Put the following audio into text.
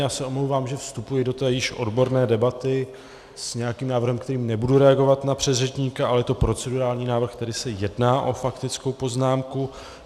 Já se omlouvám, že vstupuji do té již odborné debaty s nějakým návrhem, kterým nebudu reagovat na předřečníka, ale je to procedurální návrh, tedy se jedná o faktickou poznámku.